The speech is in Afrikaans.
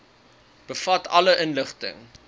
bevat alle inligting